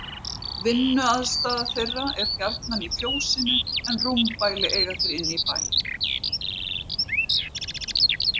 Vinnuaðstaða þeirra er gjarnan í fjósinu en rúmbæli eiga þeir inni í bæ.